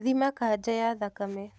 Thima kanja ya thakame.